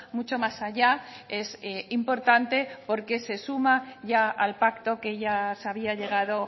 mucho más allá es importante porque se suma ya al pacto que ya se había llegado